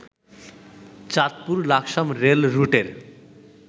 Chandpur Laksam রেলরুটের